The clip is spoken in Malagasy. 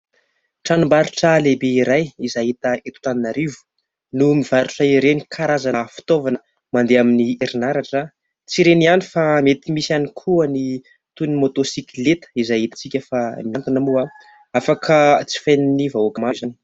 Tranom-barotra lehibe iray izay hita eto Antananarivo no mivarotra ireny karazana fitaovana mandeha amin'ny herinaratra. Tsy ireny ihany fa mety misy ihany koa ny toy ny "moto sikileta" izay hitantsika fa miantona moa. Afaka jifain'ny vahoaka maro izany.